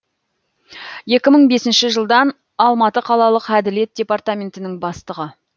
екі мың бесінші жылдан алматы қалалық әділет департаментінің бастығы